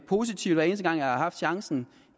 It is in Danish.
positivt hver eneste gang jeg har haft chancen